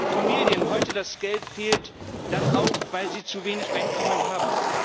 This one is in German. Wenn Familien heute das Geld fehlt, dann auch, weil sie zu wenig Einkommen haben.